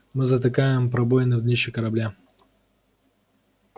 мы затыкаем пробоины в днище корабля